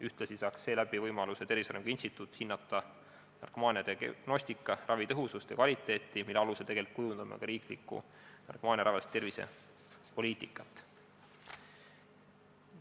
Ühtlasi saaks Tervise Arengu Instituut võimaluse hinnata narkomaania diagnostikat, ravi tõhusust ja kvaliteeti, mille alusel me kujundame riiklikku narkomaaniaravialast tervisepoliitikat.